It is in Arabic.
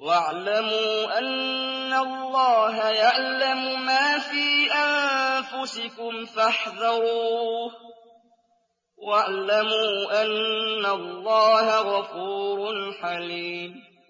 وَاعْلَمُوا أَنَّ اللَّهَ يَعْلَمُ مَا فِي أَنفُسِكُمْ فَاحْذَرُوهُ ۚ وَاعْلَمُوا أَنَّ اللَّهَ غَفُورٌ حَلِيمٌ